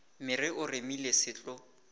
mere o remile se tlo